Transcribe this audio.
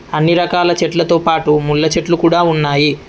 అన్ని రకాల చెట్లతోపాటు ముళ్ళ చెట్లు కూడా ఉన్నాయి.